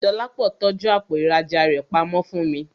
Dọlápọ̀ tọ́jú àpò ìrajà rẹ pamọ́ fún mi